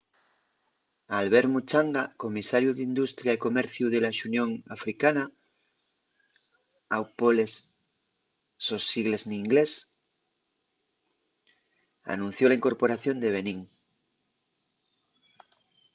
albert muchanga comisariu d’industria y comerciu de la xunión africana au poles sos sigles n’inglés anunció la incorporación de benín